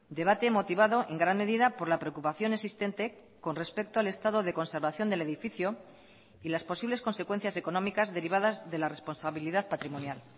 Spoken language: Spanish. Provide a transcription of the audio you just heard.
debate motivado en gran medida por la preocupación existente con respecto al estado de conservación del edificio y las posibles consecuencias económicas derivadas de la responsabilidad patrimonial